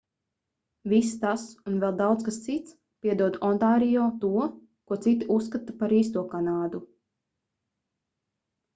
viss tas un vēl daudz kas cits piedod ontārio to ko citi uzskata par īsto kanādu